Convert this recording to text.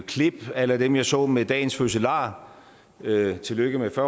klip a la dem jeg så med dagens fødselar i øvrigt tillykke med